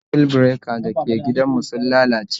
Circuit breaker dake gidan mu sun lalace